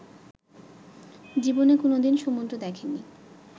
জীবনে কোনদিন সমুদ্র দেখেননি